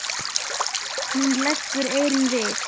Hún leggur eyrun við.